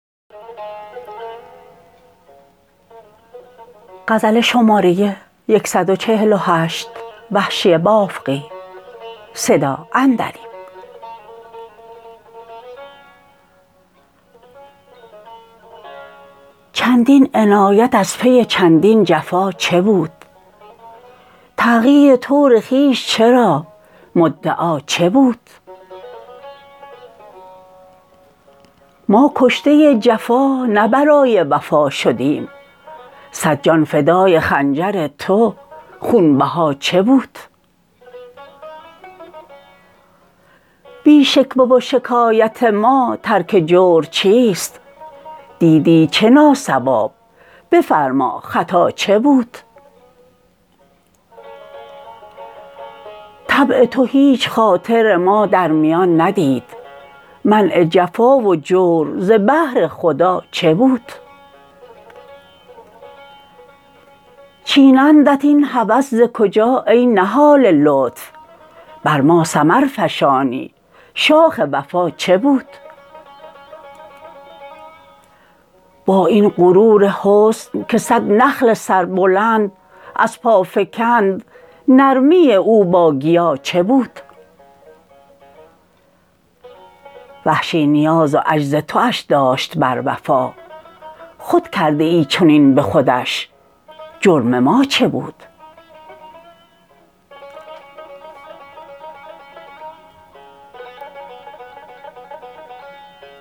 چندین عنایت از پی چندین جفا چه بود تغییر طور خویش چرا مدعا چه بود ما کشته جفا نه برای وفا شدیم سد جان فدای خنجر تو خونبها چه بود بی شکوه و شکایت ما ترک جور چیست دیدی چه ناصواب بفرما خطا چه بود طبع تو هیچ خاطر ما در میان ندید منع جفا و جور ز بهر خدا چه بود چینندت این هوس ز کجا ای نهال لطف بر ما ثمر فشانی شاخ وفا چه بود با این غرور حسن که سد نخل سربلند از پا فکند نرمی او با گیا چه بود وحشی نیاز و عجز تواش داشت بر وفا خود کرده ای چنین به خودش جرم ما چه بود